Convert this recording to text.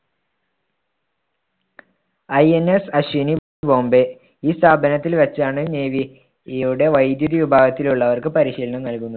INS Ashwini Bombay ഈ സ്ഥാപനത്തിൽ വച്ചാണ് navy യുടെ വൈദ്യുതി വിഭാഗത്തിലുള്ളവർക്ക് പരിശീലനം നൽകുന്നത്.